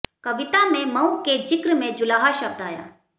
कविता में मऊ के जिक्र में जुलाहा शब्द आया